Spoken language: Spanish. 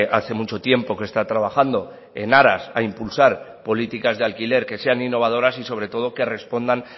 hace mucho tiempo que está trabajando en aras a impulsar políticas de alquiler que sean innovadoras y sobre todo que respondan